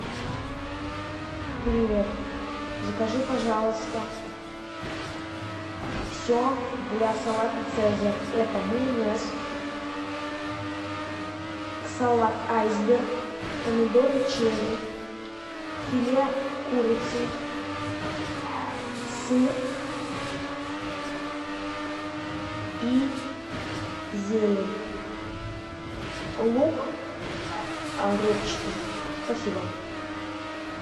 привет закажи пожалуйста все для салата цезарь это майонез салат айсберг помидоры черри филе курицы сыр и зелень лук репчатый спасибо